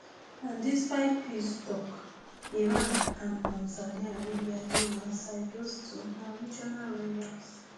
and despite peace tok iran and um saudi arabia dey one side those two na regional rivals